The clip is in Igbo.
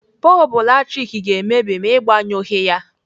Bọlbụ latrik ga-emebi ma Ị gbanyụghị ya.